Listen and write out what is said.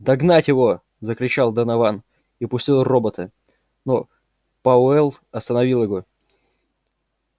догнать его закричал донован и пустил робота но пауэлл остановил его